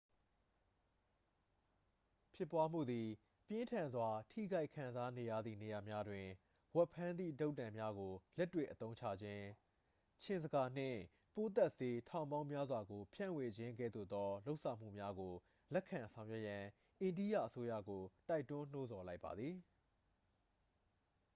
ဖြစ်ပွားမှုသည် ပြင်းထန်စွာ ထိခိုက်ခံစားနေရသည့် နေရာများတွင် ဝက်ဖမ်းသည့်တုတ်တံများကို လက်တွေ့အသုံးချခြင်း ခြင်ဇကာနှင့် ပိုးသတ်ဆေး ထောင်ပေါင်းများစွာကို ဖြန့်ဝေခြင်းကဲ့သို့သော လုပ်ဆောင်မှုများကို လက်ခံဆောင်ရွက်ရန် အိန္ဒိယအစိုးရကို တိုက်တွန်းနှိုးဆော်လိုက်ပါသည်